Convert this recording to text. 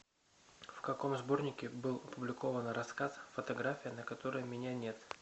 в каком сборнике был опубликован рассказ фотография на которой меня нет